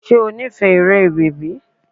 Ṣé o nífẹ̀ẹ́ eré bèbí?